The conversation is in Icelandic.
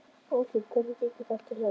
Örstutt, hvernig gengur þetta hjá ykkur?